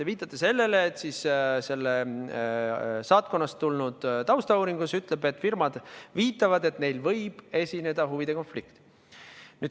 Te viitate sellele, et saatkonnast tulnud taustauuringus on öeldud, et firmad viitavad, et neil võib esineda huvide konflikt.